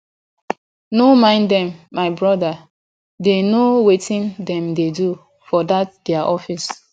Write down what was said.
no mind dem my broda dey no wetin dem dey do for dat their office